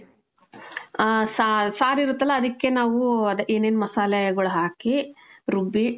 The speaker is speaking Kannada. ಹ , ಸಾ, ಸಾರಿರತ್ತಲ್ಲ ಅದಕ್ಕೆ ನಾವು ಅದೆ ಏನೇನ್ ಮಸಾಲೆಗಳು ಹಾಕಿ, ರುಬ್ಬಿ,